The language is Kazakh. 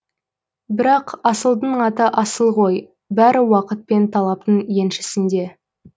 бірақ асылдың аты асыл ғой бәрі уақыт пен талаптың еншісінде